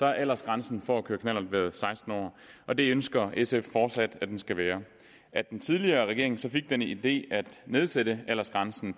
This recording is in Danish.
har aldersgrænsen for at køre knallert været seksten år og det ønsker sf fortsat at den skal være at den tidligere regering så fik den idé at nedsætte aldersgrænsen